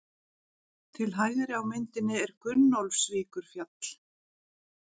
Til hægri á myndinni er Gunnólfsvíkurfjall.